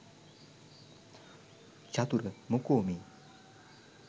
චතුර මොකෝ මේ